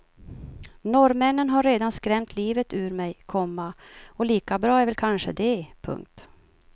Norrmännen har redan skrämt livet ur mig, komma och lika bra är väl kanske det. punkt